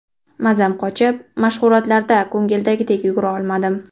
Mazam qochib, mashg‘ulotlarda ko‘ngildagidek yugura olmadim.